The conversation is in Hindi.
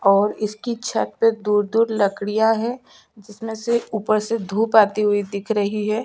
और इसकी छत पे दूर-दूर लकड़ियाँ है जिसमें से ऊपर से धुप आती हुई दिख रही है।